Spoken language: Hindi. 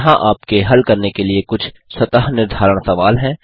यहाँ आप के हल करने के लिए कुछ स्वतः निर्धारण सवाल हैं